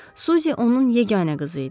Suzie onun yeganə qızı idi.